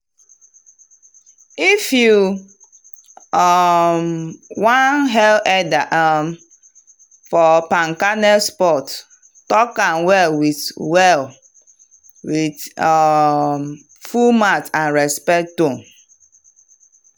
if you um wan hail elder um for palm kernel spot talk am well with well with um full mouth and respect tone.